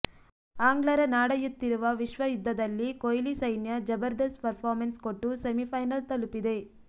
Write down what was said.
ಆಂಗ್ಲರ ನಾಡಯುತ್ತಿರುವ ವಿಶ್ವ ಯುದ್ಧದಲ್ಲಿ ಕೊಹ್ಲಿ ಸೈನ್ಯ ಜಭರ್ದಸ್ತ್ ಪರ್ಫಾಮನ್ಸ್ ಕೊಟ್ಟು ಸೆಮಿಫೈನಲ್ ತಲುಪಿದೆ